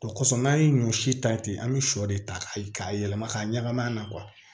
O kɔsɔn n'an ye ɲɔ si ta ten an be sɔ de ta k'a yɛlɛma ka ɲagamin a la